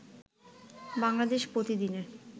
বাংলাদেশ প্রতিদিনের